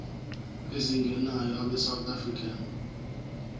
ezingenayo abesouth african